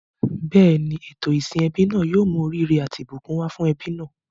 Bẹ́ẹ̀ni, ètò ìsìn ẹbí náà yóò mú oríire àti ìbùkún wá fún ẹbí náà.